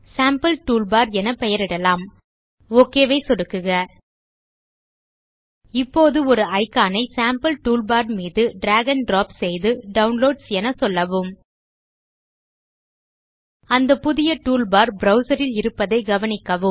sample toolbar என பெயரிடலாம் OK ஐ சொடுக்குக இப்போது ஒரு இக்கான் ஐ சேம்பிள் டூல்பார் மீது டிராக் ஆண்ட் டிராப் செய்து டவுன்லோட்ஸ் என சொல்லவும் அந்த புதிய டூல்பார் ப்ரவ்சர் ல் இருப்பதைக் கவனிக்கவும்